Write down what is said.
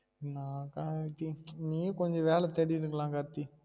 என்னா கார்த்தி நீ கொஞ்சம் வேல தேடிருக்கலாம் கார்த்தி